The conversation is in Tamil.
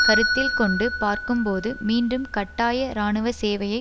கருத்தில் கொண்டு பார்க்கும்போது மீண்டும் கட்டாய இராணுவ சேவையை